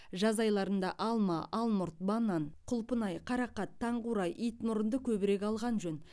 жаз айларында алма алмұрт банан құлпынай қарақат таңқурай итмұрынды көбірек алған жөн